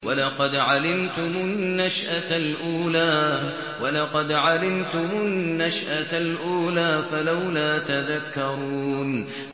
وَلَقَدْ عَلِمْتُمُ النَّشْأَةَ الْأُولَىٰ فَلَوْلَا تَذَكَّرُونَ